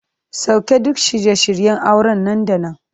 Sauke duk shirye shiryen auren nan da nan!